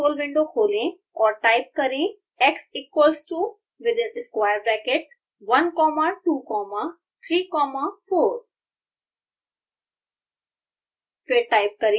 scilab console window खोलें और type करें x equals to within square bracket one comma two comma three comma four